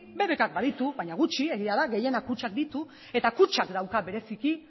bbk k baditu baina gutxi egia da gehienak kutxak ditu eta kutxak dauka bereziki